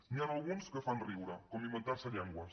n’hi han alguns que fan riure com inventar·se llen·gües